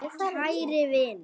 Kæri vinur.